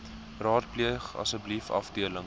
raadpleeg asseblief afdeling